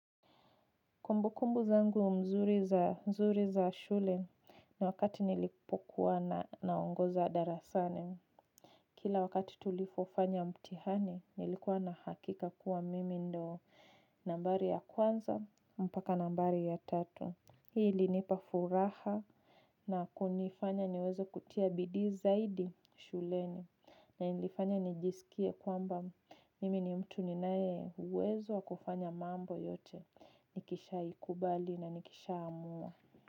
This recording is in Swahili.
Kumbukumbu zangu nzuri za shule na wakati nilipokuwa na naongoza darasani. Kila wakati tulipofanya mtihani, nilikuwa na hakika kuwa mimi ndio nambari ya kwanza mpaka nambari ya tatu. Hii ilinipa furaha na kunifanya niweze kutia bidii zaidi shuleni. Na ilifanya nijisikie kwamba mimi ni mtu ninaye uwezo wa kufanya mambo yote. Nikishaikubali na nikishaamua.